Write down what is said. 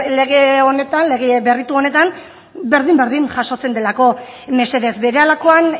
lege honetan lege berritu honetan berdin berdin jasotzen delako mesedez berehalakoan